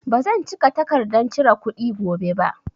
Ba zan cika takardan cire kuɗi gobe ba